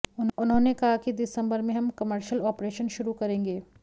उन्होंने कहा कि दिसंबर में हम कमर्शल ऑपरेशन शुरू करेंगे